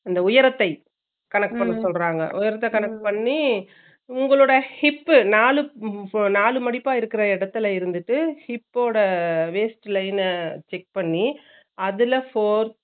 அந்த உயரத்தை silent கணக்கு பண்ண சொல்றாங்க கணக்கு பண்ணி உங்களூட hip பு நாளு நாலு மாடிப்பா இருக்குற இடத்துல இருந்துட்டு hip போடா waist line ன check பண்ணி அதுல four